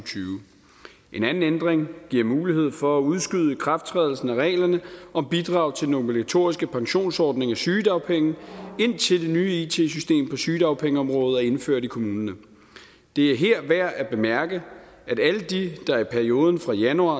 en anden ændring giver mulighed for at udskyde ikrafttrædelsen af reglerne om bidrag til den obligatoriske pensionsordning og sygedagpenge indtil det nye it system på sygedagpengeområdet er indført i kommunerne det er her værd at bemærke at alle de der i perioden fra januar